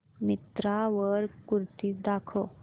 मिंत्रा वर कुर्तीझ दाखव